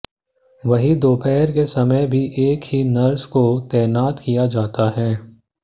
वहीं दोपहर के समय भी एक ही नर्स को तैनात किया जाता है